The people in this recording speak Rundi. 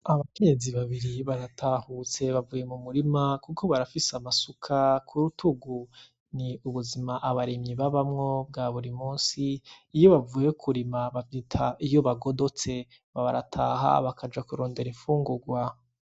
Abakenyezi babiri baratahutse bavuye mu murima kuko barafise amasuka kurutugu ni ubuzima abarimyi babamwo bwa buri musi iyo bavuye kurima bavyita iyo bagodotse barataha bakaja kurondera infungugwa.